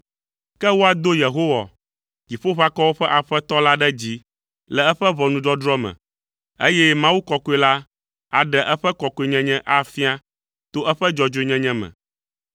Ke woado Yehowa, Dziƒoʋakɔwo ƒe Aƒetɔ la ɖe dzi le eƒe ʋɔnudɔdrɔ̃ me, eye Mawu Kɔkɔe la aɖe eƒe kɔkɔenyenye afia to eƒe dzɔdzɔenyenye me.